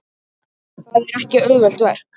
Það er ekki auðvelt verk.